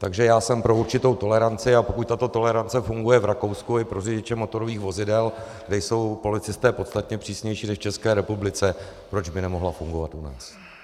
Takže já jsem pro určitou toleranci, a pokud tato tolerance funguje v Rakousku i pro řidiče motorových vozidel, kde jsou policisté podstatně přísnější než v České republice, proč by nemohla fungovat u nás.